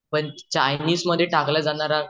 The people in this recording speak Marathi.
पण चाइनीस मध्ये टाकला जाणारा